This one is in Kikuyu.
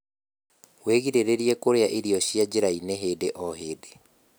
wĩgirĩrĩrie kurĩa irio cia njnira-ini hĩndĩ o hĩndĩ